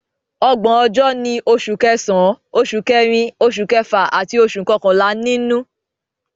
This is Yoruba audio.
Ọgbọ̀n ọjọ́ ni Oṣù Kẹsàn-án, Oṣù Kẹrin, Oṣù Kẹfà àti Oṣù Kọkànlá nínú